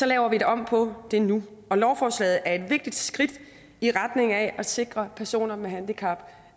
laver vi om på det nu og lovforslaget er et vigtigt skridt i retning af at sikre personer med handicap